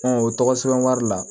o tɔgɔ sɛbɛn wari la